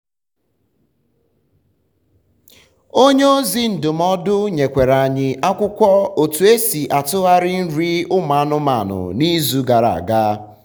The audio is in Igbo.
onye ozi um ndụmọdụ nyekwara anyi akwụkwọ otu esi atụghari nri um ụmụ anụmanụ na izu gara aga